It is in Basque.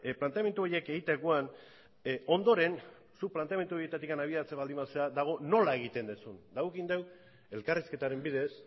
planteamendu horiek egiterakoan ondoren zuk planteamendu horietatik abiatzen baldin bazara dago nola egiten duzun eta guk egin dugu elkarrizketaren bidez